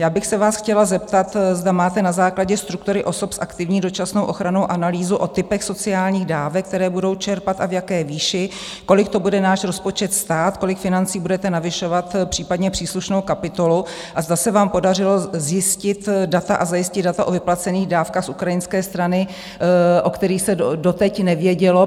Já bych se vás chtěla zeptat, zda máte na základě struktury osob s aktivní dočasnou ochranou analýzu o typech sociálních dávek, které budou čerpat, a v jaké výši, kolik to bude náš rozpočet stát, kolik financí budete navyšovat, případně příslušnou kapitolu, a zda se vám podařilo zjistit data a zajistit data o vyplacených dávkách z ukrajinské strany, o kterých se doteď nevědělo?